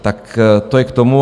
Tak to je k tomu.